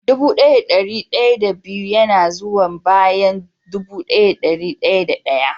Dubu daya da dari daya da biyu yana zuwa bayan dubu daya da dari daya da daya.